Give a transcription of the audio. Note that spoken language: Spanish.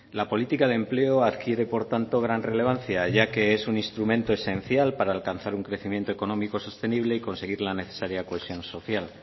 la política de empleo adquiere por tanto gran relevancia ya que es un instrumento esencial para alcanzar un crecimiento económico sostenible y conseguir la necesaria cohesión social